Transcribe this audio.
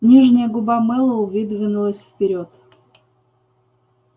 нижняя губа мэллоу выдвинулась вперёд